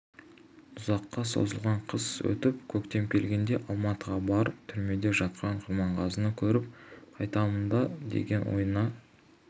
ұзаққа созылған қыс өтіп көктем келгенде алматыға барып түрмеде жатқан құрманғазыны көріп қайтамын ба деген ойына